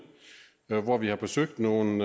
hvor vi har besøgt nogle